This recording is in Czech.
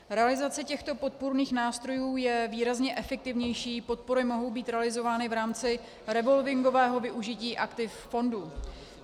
Realizace těchto podpůrných nástrojů je výrazně efektivnější, podpory mohou být realizovány v rámci revolvingového využití aktiv fondu.